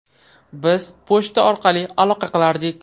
Biz pochta orqali aloqa qilardik.